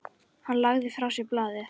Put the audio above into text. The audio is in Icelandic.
Hann lagði frá sér blaðið.